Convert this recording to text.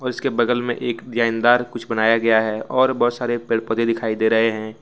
इसके बगल में एक डिजाइनदार कुछ बनाया गया है और बहुत सारे पेड़ पौधे दिखाई दे रहे हैं।